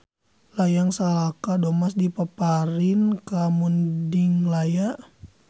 Layang Salaka Domas dipaparin ka Mundinglaya.